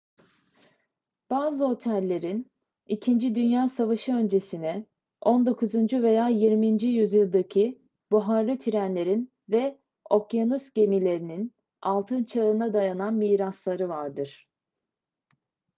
bazı otellerin i̇kinci dünya savaşı öncesine 19. veya 20. yüzyıldaki buharlı trenlerin ve okyanus gemilerinin altın çağına dayanan mirasları vardır